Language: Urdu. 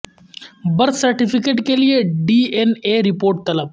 برتھ سرٹیفکیٹ کیلئے ڈی این اے رپورٹ طلب